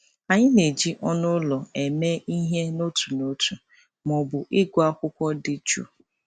Anyị na-eji ọnụ ụlọ eme ihe n'otu n'otu ma ọ bụ ịgụ akwụkwọ dị jụụ.